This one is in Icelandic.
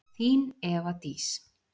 Þín, Eva Dís.